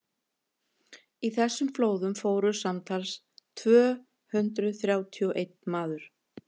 í þessum flóðum fórst samtals tvö hundruð þrjátíu og einn maður